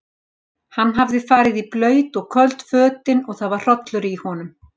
Hann hafði farið í blaut og köld fötin og það var hrollur í honum.